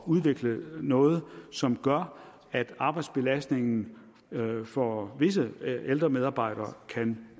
at udvikle noget som gør at arbejdsbelastningen for visse ældre medarbejdere kan